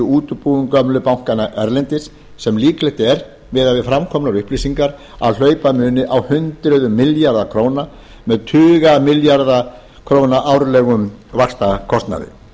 útibúum gömlu bankanna erlendis sem líklegt er miðað við framkomnar upplýsingar að hlaupa muni á hundruðum milljarða króna með tuga milljarða króna árlegum vaxtakostnaði